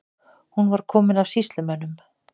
Hún var komin af sýslumönnum.